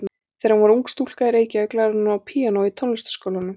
Þegar hún var ung stúlka í Reykjavík lærði hún á píanó í Tónlistarskólanum.